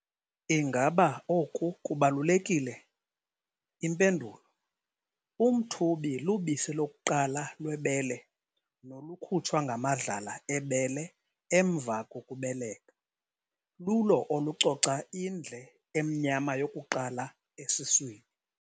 Ingaba oku kubalulekile? Impendulo- Umthubi, lubisi lokuqala lwebele nolukhutshwa ngamadlala ebele emva kokubeleka, lulo olucoca indle emnyama yokuqala esiswini.